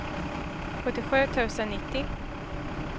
sjuttiosju tusen nittio